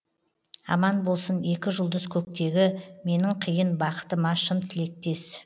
аман болсын екі жұлдыз көктегі менің қиын бақытыма шын тілектес